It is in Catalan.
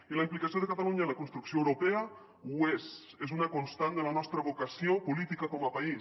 i la implicació de catalunya en la construcció europea ho és és una constant de la nostra vocació política com a país